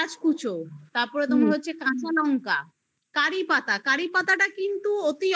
কুচ তারপরে তোমার হচ্ছে কাঁচালঙ্কা তারপরে কারিপাতা কারিপাতা কিন্তু অতি